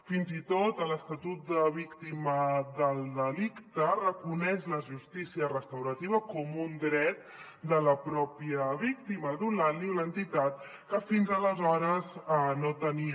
fins i tot l’estatut de la víctima del delicte reconeix la justícia restaurativa com un dret de la pròpia víctima donant li una entitat que fins aleshores no tenia